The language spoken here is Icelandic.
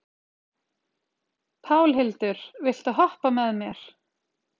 Pálhildur, viltu hoppa með mér?